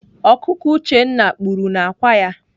Ọkụkọ Uchenna kpuru n'akwa ya.